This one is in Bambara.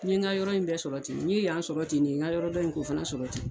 N ye n ka yɔrɔ in bɛɛ sɔrɔ ten n ye yan sɔrɔ ten de n ka yɔrɔ dɔ in k'o fana sɔrɔ ten